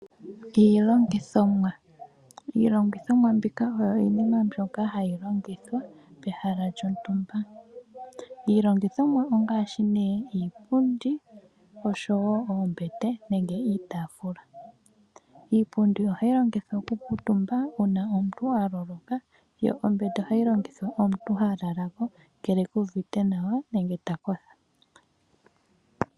Iilongithomwa, iilongithomwa oyo iinima mbyoka hayi longithwa pehala lyotumba. Iilongithomwa ongaashi nee iipundi, oombete niitaafula. Iipundi ohayi longithwa oku kuutumba uuna omuntu aloloka. Ombete ohayi longithwa omuntu talala ko ngele kuuvite nawa nenge takotha.